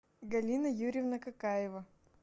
галина юрьевна какаева